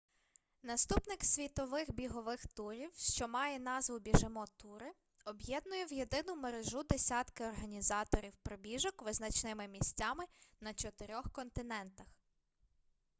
наступник світових бігових турів що має назву біжимо тури об'єднує в єдину мережу десятки організаторів пробіжок визначними місцями на чотирьох континентах